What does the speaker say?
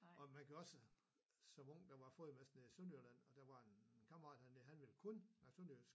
Og man kan også som ung der var ?????? nede i Sønderjylland og der var en kammerat han han ville kun snakke sønderjysk